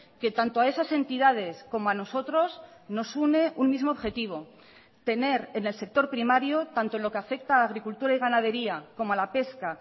que tanto a esas entidades como a nosotros nos une un mismo objetivo tener en el sector primario tanto en lo que afecta a agricultura y ganadería como a la pesca